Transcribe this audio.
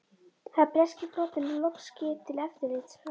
Hafði breski flotinn nú loks skip til eftirlits frá